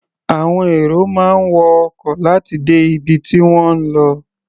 Àwọn èrò máa ń wọ ọkọ̀ láti dé ibi tí wọ́n ń lọ.